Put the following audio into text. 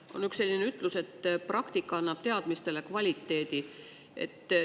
On üks selline ütlus, et praktika annab teadmistele kvaliteedi.